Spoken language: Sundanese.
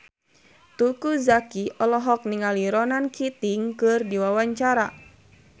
Teuku Zacky olohok ningali Ronan Keating keur diwawancara